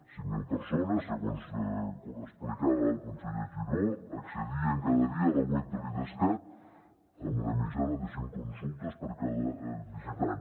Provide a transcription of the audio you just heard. cinc mil persones segons explicava el conseller giró accedien cada dia a la web de l’idescat amb una mitjana de cent consultes per cada visitant